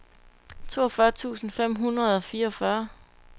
toogfyrre tusind fem hundrede og fireogfyrre